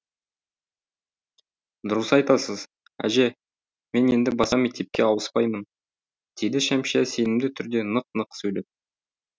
дұрыс айтасыз әже мен енді баса мектепке ауыспаймын деді шәмшия сенімді түрде нық нық сөйлеп